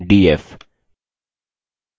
df